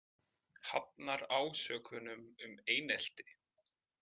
Hafnar ásökunum um einelti